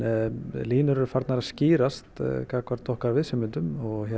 línur eru farnar að skýrast gagnvart okkar viðsemjendum